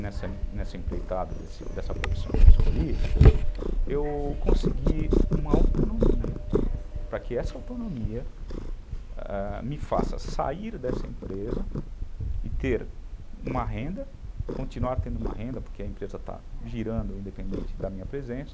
nessa nessa empreitada, dessa profissão que eu escolhi, eu consegui uma autonomia para que essa autonomia, ãh, me faça sair dessa empresa e ter uma renda, continuar tendo uma renda, porque a empresa está girando independente da minha presença,